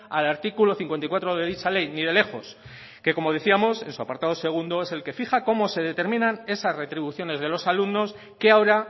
al artículo cincuenta y cuatro de dicha ley ni de lejos que como decíamos en su apartado segundo es el que fija cómo se determinan esas retribuciones de los alumnos que ahora